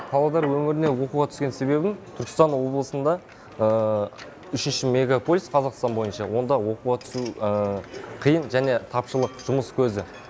павлодар өңіріне оқуға түскен себебім түркістан облысында үшінші мегаполис қазақстан бойынша онда оқуға түсу қиын және тапшылық жұмыс көзі